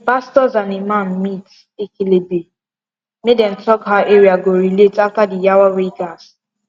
pastors and imam meet ekelebe make them talk how area go relate after the yawa wey gas